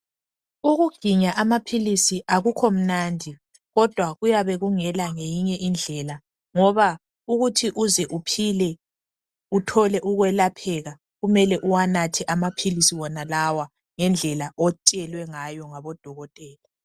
Ukuginya amaphilisi akukho mnandi kodwa kuyabe kungela ngeyinye indlela ngoba ukuthi uze uphile uthole ukwelapheka kumele uwanathe amaphilisi wona lawa ngendlela otshelwe ngayo ngodokotela.